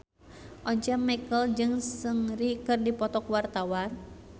Once Mekel jeung Seungri keur dipoto ku wartawan